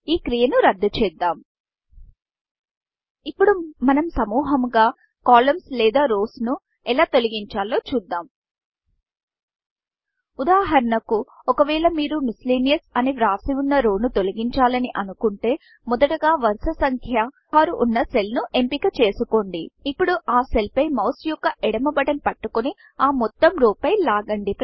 ఈ క్రియను రద్దు చేద్దాం ఇప్పుడు మనం సముహముగా columnsకాలమ్స్ లేదా రౌస్ రోస్ ఎలా తొలగించాలో చూద్దాం ఉదాహరణకు ఒకవేళ మీరు Miscellaneousమిసిలేనీయియస్ అని వ్రాసి వున్న రౌ రోను తొలగించాలని అనుకుంటే మొదటగా వరుస సంక్య 6 వున్నా సెల్ ను ఎంపిక చేసుకోండి ఇప్పుడు ఆ సెల్ పై మౌస్ యొక్క ఎడమ బటన్ పట్టుకొని ఆ మొత్తం రో పై లాగండి